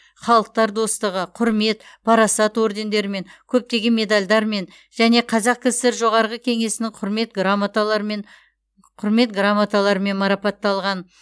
халықтар достығы құрмет парасат ордендерімен көптеген медальдармен және қазақ кср жоғарғы кеңесінің құрмет грамоталармен құрмет грамоталарымен марапатталған